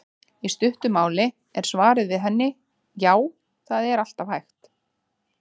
Í stuttu máli er svarið við henni: Já, það er alltaf hægt.